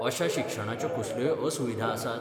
अशा शिक्षणा च्यो कसल्योय असुविधा आसात?